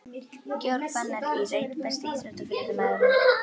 Georg Fannar í reit Besti íþróttafréttamaðurinn?